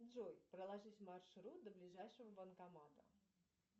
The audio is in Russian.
джой проложить маршрут до ближайшего банкомата